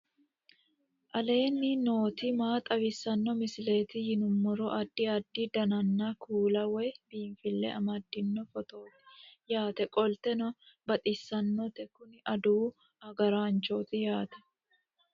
aleenni nooti maa xawisanno misileeti yinummoro addi addi dananna kuula woy biinsille amaddino footooti yaate qoltenno baxissannote kuni adawu agaraanchooti yaate